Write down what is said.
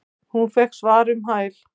Hún fékk svar um hæl.